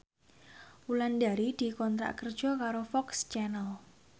Wulandari dikontrak kerja karo FOX Channel